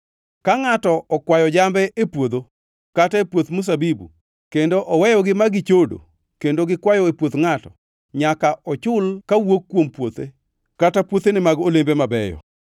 “Ka ngʼato okwayo jambe e puodho kata e puoth mzabibu kendo oweyogi ma gi chodo kendo gikwayo e puoth ngʼato, nyaka ochul kawuok kuom puothe kata puothene mag olembe mabeyo.